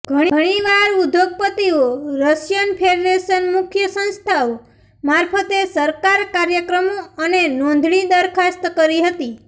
ઘણીવાર ઉદ્યોગપતિઓ Russian federation મુખ્ય સંસ્થાઓ મારફતે સરકાર કાર્યક્રમો અને નોંધણી દરખાસ્ત કરી હતી